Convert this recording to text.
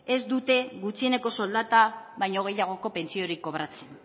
ez dute gutxieneko soldata baino gehiagoko pentsiorik kobratzen